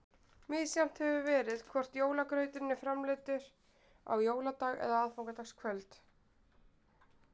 Misjafnt hefur verið hvort jólagrauturinn var framreiddur á jóladag eða aðfangadagskvöld.